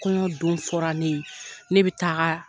Kɔɲɔ don fɔra ne ye ne bɛ taa